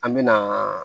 An me na